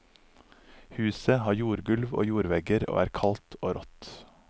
Huset har jordgulv og jordvegger, og er kaldt og rått.